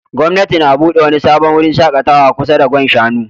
Gwamnati na bude wani sabon wurin shakatawa kusa da Gwan Shanu